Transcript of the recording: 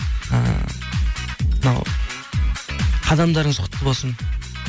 ы мынау қадамдарыңыз құтты болсын